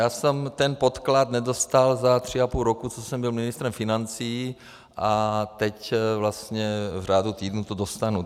Já jsem ten podklad nedostal za tři a půl roku, co jsem byl ministrem financí, a teď vlastně v řádu týdnu to dostanu.